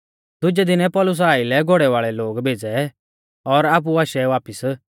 दुजै दिनै पौलुसा आइलै घोड़ै वाल़ै लोग भेज़ै और आपु आशै वापिस